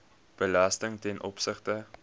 belasting ten opsigte